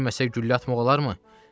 tuta bilməsək güllə atmaq olarmı?